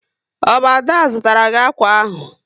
Ọ bụ Ada zụtara gị akwa ahụ?